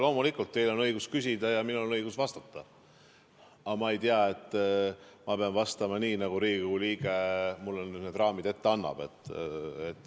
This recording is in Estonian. Loomulikult, teil on õigus küsida ja minul on õigus vastata, aga ma ei tea, et ma peaksin vastama nii, nagu Riigikogu liige mulle raamid ette annab.